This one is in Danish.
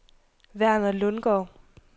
Verner Lundgaard